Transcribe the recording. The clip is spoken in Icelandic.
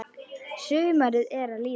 Sumarið er að líða.